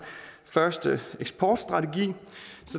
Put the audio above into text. først eksportstrategi